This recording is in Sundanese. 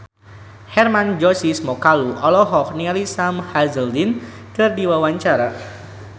Hermann Josis Mokalu olohok ningali Sam Hazeldine keur diwawancara